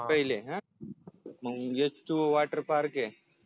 पहिले मंग WATER PARK हे